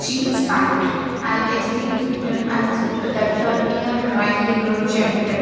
jeans pant and it's been written as dry cleaner gentle.